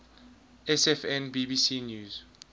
sfn bbc news